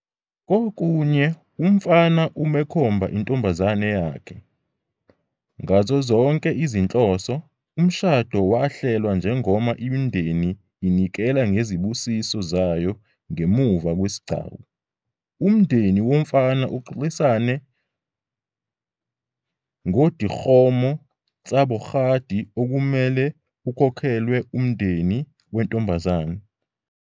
Kokunye umfana ubekhomba intombazane yakhe. Ngazo zonke izinhloso, umshado wahlelwa njengoba imindeni inikela ngezibusiso zayo ngemuva kwesigcawu. Umndeni womfana uxoxisane ngodikgomo tsa bogadi okumele ukhokhelwe umndeni wentombazane.